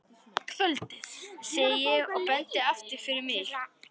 Kvöldið, segi ég og bendi aftur fyrir mig.